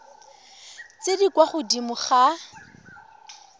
tse di kwa godimo ga